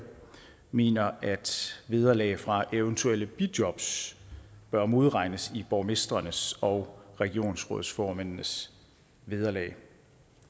mener at vederlag fra eventuelle bijobs bør modregnes i borgmestrenes og regionsrådsformændenes vederlag